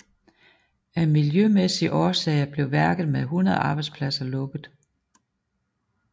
Af miljømæssige årsager blev værket med 100 arbejdspladser lukket